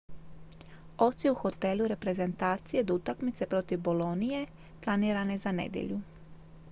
odsjeo je u hotelu reprezentacije do utakmice protiv bolonije planirane za nedjelju